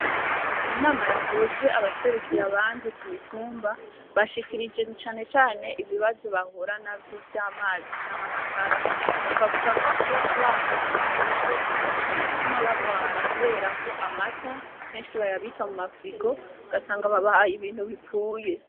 Inama yahuje abaserukira abandi ku mitumba bashikirije canecane ibibazo bahura na vyo vy'amazi canke amatara bakavuga ko iyo abana bareze batuma bagwara, kubera ko amata kenshi bayabika mu mafrigo gasanga babahaye ibintu bipfuye.